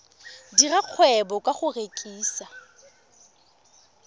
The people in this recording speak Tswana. dira kgwebo ka go rekisa